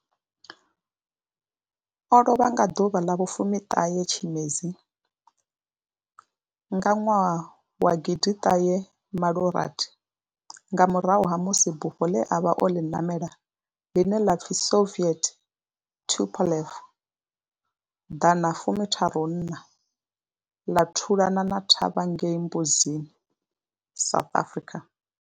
O lovha nga 19 Tshimedzi 1986 nga murahu ha musi bufho ḽe a vha o ḽi namela, ḽine ḽa pfi Soviet Tupolev 134 ḽa thulana thavha ngei Mbuzini, South Africa.